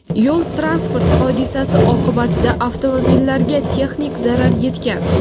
Yo‘l-transport hodisasi oqibatida avtomobillarga texnik zarar yetgan.